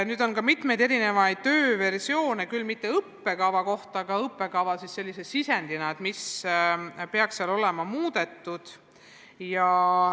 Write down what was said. Nüüd ongi mitmeid erinevaid tööversioone, küll mitte õppekava omi, vaid sellise sisendina, mis peaks seal olema muudetud.